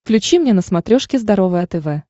включи мне на смотрешке здоровое тв